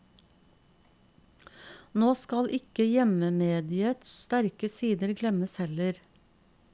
Nå skal ikke hjemmemediets sterke sider glemmes heller.